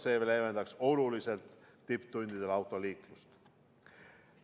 See leevendaks oluliselt tipptundidel autoliiklust.